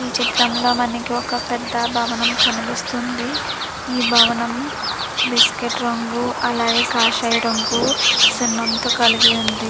ఈ చిత్రంలో మనకి ఒక పెద్ద భవనం కనిపిస్తుంది. ఈ భావనము బిస్కెట్ రంగు అలాగే కాషాయ రంగు సున్నంతో కలిపి ఉన్నది.